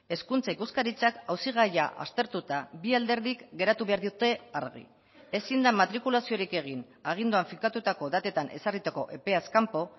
hezkuntza ikuskaritzak auzigaia aztertuta bi alderdik geratu behar diote argi ezin da matrikulaziorik egin aginduan finkatutako datetan ezarritako epeaz kanpo